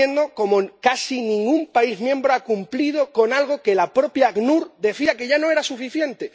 Estamos viendo como casi ningún Estado miembro ha cumplido con algo que la propia ACNUR decía que ya no era suficiente.